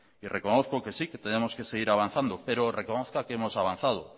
y reconozco que sí que tenemos que seguir avanzando pero reconozca que hemos avanzado